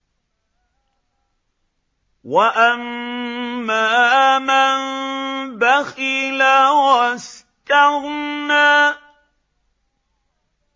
وَأَمَّا مَن بَخِلَ وَاسْتَغْنَىٰ